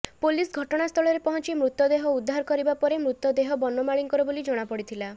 police ଘଟଣାସ୍ଥଳରେ ପହଞ୍ଚି ମୃତଦେହ ଉଦ୍ଧାର କରିବା ପରେ ମୃତଦେହ ବନମାଳିଙ୍କର ବୋଲି ଜଣାପଡିଥିଲା